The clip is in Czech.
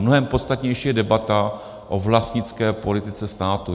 Mnohem podstatnější je debata o vlastnické politice státu.